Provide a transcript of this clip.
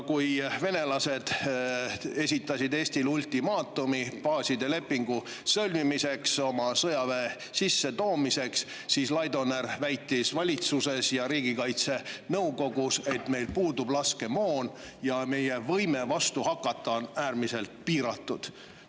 Kui venelased esitasid Eestile ultimaatumi baaside lepingu sõlmimiseks ja oma sõjaväe sissetoomiseks, siis Laidoner väitis valitsuses ja riigikaitsenõukogus, et meil puudub laskemoon ja meie võime vastu hakata on äärmiselt piiratud.